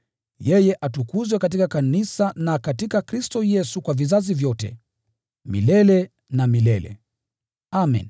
yeye atukuzwe katika kanisa na katika Kristo Yesu kwa vizazi vyote, milele na milele. Amen.